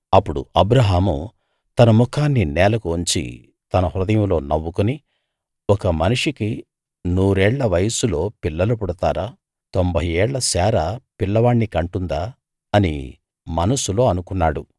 అప్పుడు అబ్రాహాము తన ముఖాన్ని నేలకు వంచి తన హృదయంలో నవ్వుకుని ఒక మనిషికి నూరేళ్ళ వయస్సులో పిల్లలు పుడతారా తొంభై ఏళ్ల శారా పిల్ల వాణ్ని కంటుందా అని మనస్సులో అనుకున్నాడు